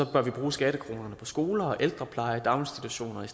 bør vi bruge skattekronerne på skoler ældrepleje og daginstitutioner